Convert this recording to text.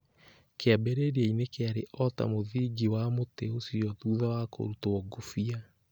Kĩambĩrĩria-inĩ kĩarĩ o ta mũthingi wa mũtĩ ũcio thutha wa kũrutwo ngũbia.